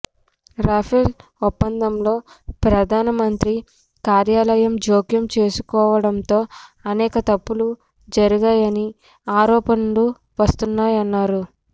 Rafale ఒప్పందంలో ప్రధానమంత్రి కార్యాలయం జోక్యం చేసుకోవడంతో అనేక తప్పులు జరిగాయని ఆరోపణలు వస్తున్నాయన్నారు